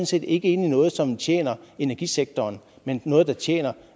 set ikke inde i noget som tjener energisektoren men i noget der tjener